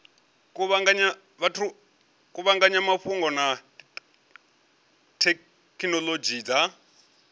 kuvhanganya mafhungo na thekhinolodzhi dza